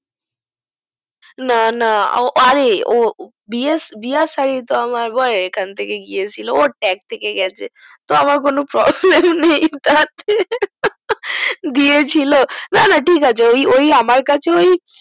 না না ও বিয়ে সারি তা আমার বরের টাক থাকে গাছে আমের কোনো প্রব্লেম নাই তাতে দিয়ে ছিল না না টিক আছে ওই আমার কাছ ওই